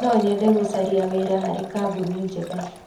Nonyende gũcaria wĩra harĩ kambuni njega.